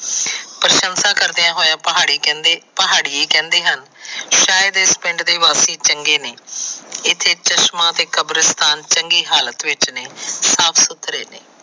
ਗੁੱਸਾ ਕਰਦੇ ਹੋਏ ਪਹਾੜੀ ਕਹਿੰਦੇ ਪਹਾੜੀਏ ਕਹਿੰਦੇ ਹਨ ਕਿ ਸ਼ਇਦ ਇਸ ਪਿੰਡ ਦੇ ਵਾਸੀ ਚੰਗੇ ਨਹੀਂ ਇਥੇ ਚਸ਼ਮਾ ਕਬਰਿਸਤਾਨ ਚੰਗੀ ਹਾਲਤ ਵਿਚ ਨਹੀਂ ਸਾਫ਼ ਸੁਥਰੇ ਨਹੀਂ।